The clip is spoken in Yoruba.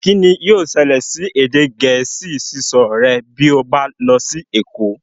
Kín ni yóò ṣẹlẹ̀ sí èdè gẹ̀ẹ́sì sísọ rẹ bí ó bá lọ sí èkó